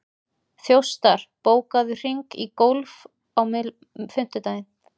Þjóstar, bókaðu hring í golf á fimmtudaginn.